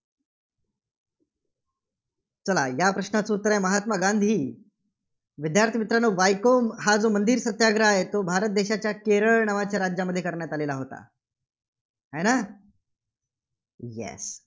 चला या प्रश्नाचं उत्तर आहे, महात्मा गांधी. विद्यार्थी मित्रांनो वायको हा जो मंदिर सत्याग्रह आहे, तो भारत देशाच्या केरळ नावाच्या राज्यामध्ये करण्यात आलेला होता. आहे ना? Yes